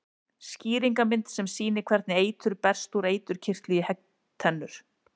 Skýringarmynd sem sýnir hvernig eitur berst úr eiturkirtli í höggtennur.